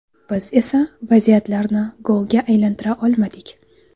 Biz esa vaziyatlarni golga aylantira olmadik.